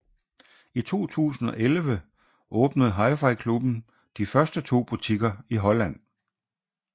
I 2011 åbnede HiFi Klubben de første to butikker i Holland